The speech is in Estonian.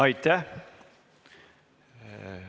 Aitäh!